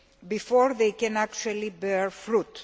before they can actually bear fruit.